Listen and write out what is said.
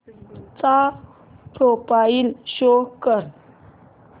चा profile show कर